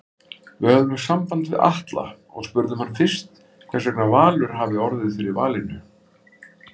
Við höfðum samband við Atla og spurðum hann fyrst hversvegna Valur hafi orðið fyrir valinu?